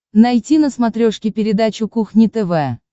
найти на смотрешке передачу кухня тв